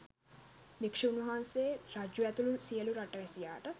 භික්‍ෂූන් වහන්සේ රජු ඇතුළු සියලු රටවැසියාට